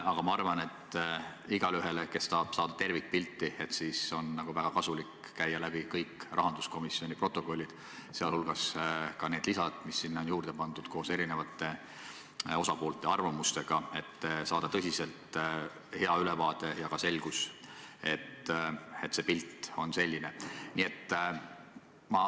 Aga ma arvan, et igaühele, kes tahab saada tervikpilti, on nagu väga kasulik vaadata üle kõik rahanduskomisjoni protokollid, sh need lisad, mis sinna on juurde pandud koos erinevate osapoolte arvamustega, et saada tõsiselt hea ülevaade ja ka selgus, et pilt on selline.